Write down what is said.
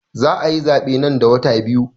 Za ayi zaɓe nan da wata biyu